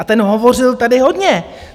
A ten hovořil tady hodně.